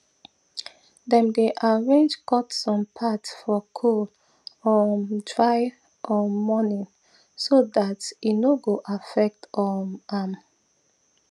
dem dey arrange cut some part for cool um dry um morning so that e no go affect um am